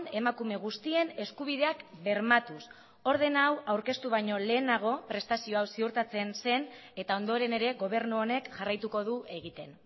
emakume guztien eskubideak bermatuz ordena hau aurkeztu baino lehenago prestazio hau ziurtatzen zen eta ondoren ere gobernu honek jarraituko du egiten